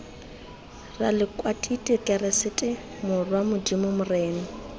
ralekwatiti keresete morwa modimo morena